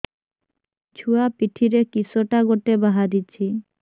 ଛୁଆ ପିଠିରେ କିଶଟା ଗୋଟେ ବାହାରିଛି